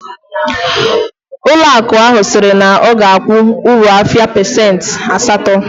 Ụlọ akụ ahu siri na oga akwu uru afia pasent asato